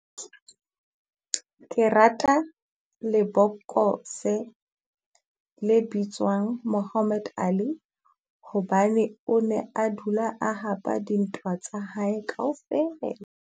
Ke rata lebokose le bitswang Mohammed Ali, hobane o ne a dula a hapa dintwa tsa hae kaofela.